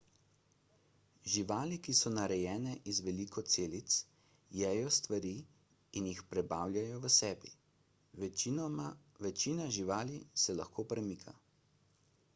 živali so narejene iz veliko celic jejo stvari in jih prebavljajo v sebi večina živali se lahko premika